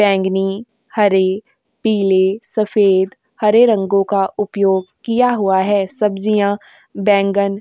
बैंगनी हरी पीली सफेद हरे रंगों का उपयोग किया हुआ है। सब्जियां बैंगन --